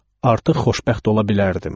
Artıq xoşbəxt ola bilərdim.